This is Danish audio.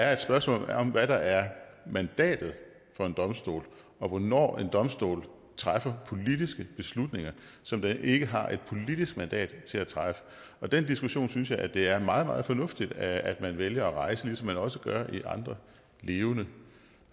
er et spørgsmål om hvad der er mandatet for en domstol og hvornår en domstol træffer politiske beslutninger som den ikke har et politisk mandat til at træffe og den diskussion synes jeg at det er meget meget fornuftigt at man vælger at rejse ligesom man også gør det i andre levende